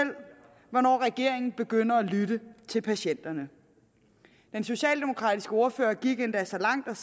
hvornår regeringen begynder at lytte til patienterne den socialdemokratiske ordfører gik endda så langt